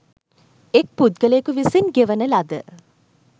එක් පුද්ගලයෙකු විසින් ගෙවන ලද